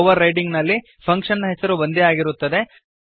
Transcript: ಓವರ್ರೈಡಿಂಗ್ನಲ್ಲಿ function ನ ಹೆಸರು ಒಂದೇ ಆಗಿರುತ್ತದೆ